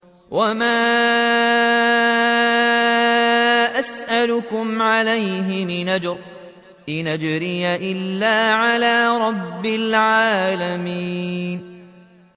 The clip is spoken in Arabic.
وَمَا أَسْأَلُكُمْ عَلَيْهِ مِنْ أَجْرٍ ۖ إِنْ أَجْرِيَ إِلَّا عَلَىٰ رَبِّ الْعَالَمِينَ